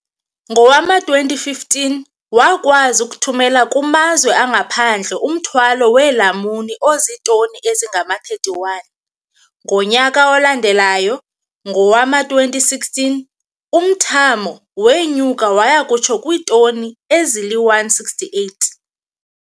Ngowama-2015, wakwazi ukuthumela kumazwe angaphandle umthwalo weelamuni ozitoni ezingama-31. Ngonyaka olandelayo, ngowama-2016, umthamo wenyuka waya kutsho kwiitoni ezili-168.